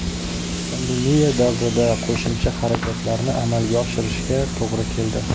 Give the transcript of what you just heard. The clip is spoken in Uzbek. Pandemiya davrida qo‘shimcha xarajatlarni amalga oshirishga to‘g‘ri keldi.